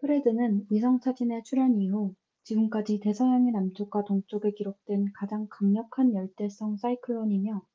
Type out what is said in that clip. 프레드는 위성사진의 출현 이후 지금까지 대서양의 남쪽과 동쪽에 기록된 가장 강력한 열대성 사이클론이며